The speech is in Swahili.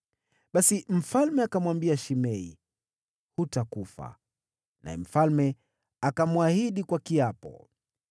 Basi mfalme akamwambia Shimei, “Hutakufa.” Naye mfalme akamwahidi kwa kiapo.